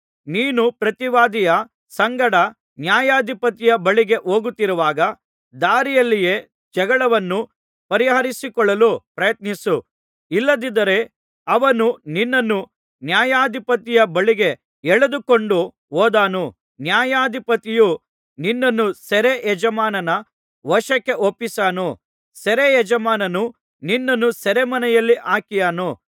ನೀನು ಪ್ರತಿವಾದಿಯ ಸಂಗಡ ನ್ಯಾಯಾಧಿಪತಿಯ ಬಳಿಗೆ ಹೋಗುತ್ತಿರುವಾಗ ದಾರಿಯಲ್ಲಿಯೇ ಜಗಳವನ್ನು ಪರಿಹರಿಸಿಕೊಳ್ಳಲು ಪ್ರಯತ್ನಿಸು ಇಲ್ಲದಿದ್ದರೆ ಅವನು ನಿನ್ನನ್ನು ನ್ಯಾಯಾಧಿಪತಿಯ ಬಳಿಗೆ ಎಳಕೊಂಡು ಹೋದಾನು ನ್ಯಾಯಾಧಿಪತಿಯು ನಿನ್ನನ್ನು ಸೆರೆ ಯಜಮಾನನ ವಶಕ್ಕೆ ಒಪ್ಪಿಸಾನು ಸೆರೆಯಜಮಾನನು ನಿನ್ನನ್ನು ಸೆರೆಮನೆಯಲ್ಲಿ ಹಾಕಿಯಾನು